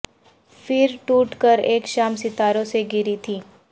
پھر ٹوٹ کر اک شام ستاروں سے گری تھی